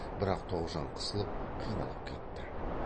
бірақ тоғжан қысылып қиналып кетті